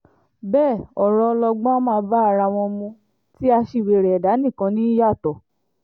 bẹ́ẹ̀ ọ̀rọ̀ ọlọgbọ́n á máa bá ara wọn mu tí aṣiwèrè ẹ̀dá nìkan ní í yàtọ̀